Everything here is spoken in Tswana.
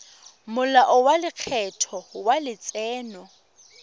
molao wa lekgetho wa letseno